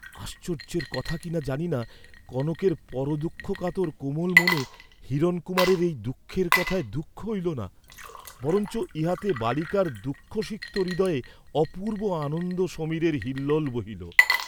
আশ্চর্য্যের কথা কিনা জানি না, কনকের পরদুঃখকাতর কোমল মনে হিরণকুমারের এই দুঃখের কথায় দুঃখ হইল না, বরঞ্চ ইহাতে বালিকার দুঃখসিক্ত হৃদয়ে অপুর্ব্ব আনন্দ সমীরের হিল্লোল বহিল।